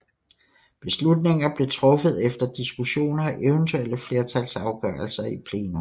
Beslutninger blev truffet efter diskussioner og eventuelle flertalsafgørelser i plenum